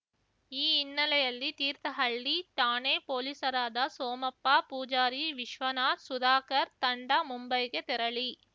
ಈ ಹಿನ್ನೆಲೆಯಲ್ಲಿ ತೀರ್ಥಹಳ್ಳಿ ಠಾಣೆ ಪೊಲೀಸರಾದ ಸೋಮಪ್ಪ ಪೂಜಾರಿ ವಿಶ್ವನಾಥ್‌ ಸುಧಾಕರ್ ತಂಡ ಮುಂಬೈಗೆ ತೆರಳಿ